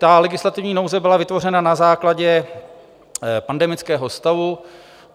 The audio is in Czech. Ta legislativní nouze byla vytvořena na základě pandemického stavu.